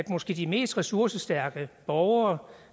måske mest ressourcestærke borgere